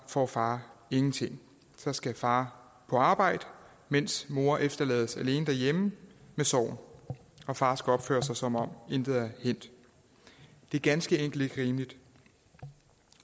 får far ingenting så skal far på arbejde mens mor efterlades alene hjemme med sorgen og far skal opføre sig som om intet er hændt det er ganske enkelt ikke rimeligt